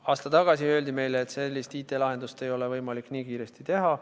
Aasta tagasi öeldi meile, et sellist IT-lahendust ei ole võimalik nii kiiresti teha.